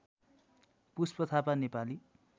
Pushpa Thapa Nepali